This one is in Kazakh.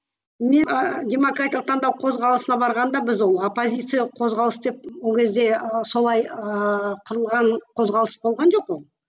мен ііі демократиялық таңдау қозғалысына барғанда біз оппозициялық қозғалыс деп ол кезде солай ыыы құрылған қозғалыс болған жоқ қой